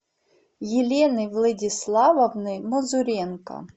еленой владиславовной мазуренко